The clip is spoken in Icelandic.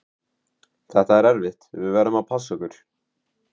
Þetta er erfitt, við verðum að passa okkur.